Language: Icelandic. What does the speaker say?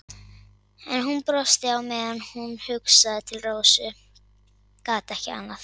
En hún brosti á meðan hún hugsaði til Rósu, gat ekki annað.